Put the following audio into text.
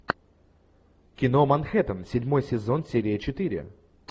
кино манхэттен седьмой сезон серия четыре